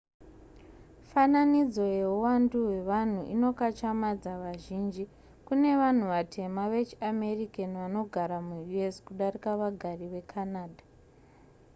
fananidzo yehuwandu hwevanhu inokatyamadza vazhinji kune vanhu vatema vechiamerican vanogara muus kudarika vagari vecanada